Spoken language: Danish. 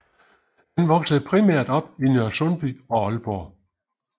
Han voksede primært op i Nørresundby og Aalborg